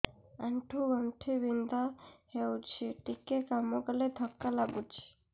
ଆଣ୍ଠୁ ଗଣ୍ଠି ବିନ୍ଧା ହେଉଛି ଟିକେ କାମ କଲେ ଥକ୍କା ଲାଗୁଚି